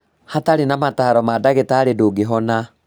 Hatarĩ na mataro ma ndagĩtarĩ ndũngĩhona